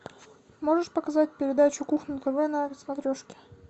можешь показать передачу кухня тв на смотрешке